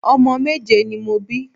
Omo méje ni mo bi